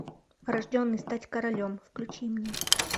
рожденный стать королем включи мне